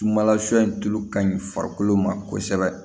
Sumala sɔ in tulu ka ɲi farikolo ma kosɛbɛ